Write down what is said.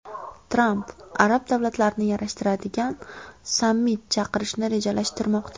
Tramp arab davlatlarini yarashtiradigan sammit chaqirishni rejalashtirmoqda.